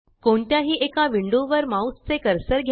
कोणत्याही एका विंडो वर माउस चे कर्सर घ्या